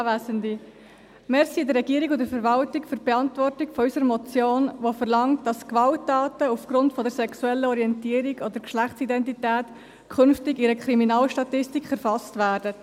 Danke an die Regierung und Verwaltung für die Beantwortung unserer Motion, die verlangt, dass Gewalttaten aufgrund der sexuellen Orientierung oder Geschlechtsidentität künftig in einer Kriminalstatistik erfasst werden.